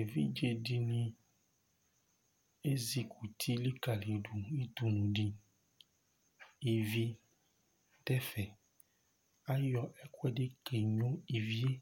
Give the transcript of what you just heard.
Evidze dìní esikʋti likalidu ʋdʋnu di Íví du ɛfɛ Ayɔ ɛkʋɛdi keno ívì ye